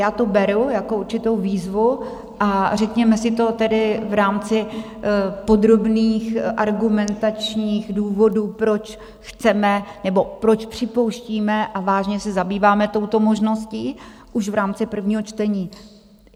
Já to beru jako určitou výzvu a řekněme si to tedy v rámci podrobných argumentačních důvodů, proč chceme nebo proč připouštíme a vážně se zabýváme touto možností už v rámci prvního čtení.